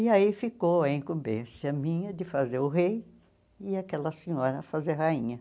E aí ficou a incumbência minha de fazer o rei e aquela senhora fazer rainha.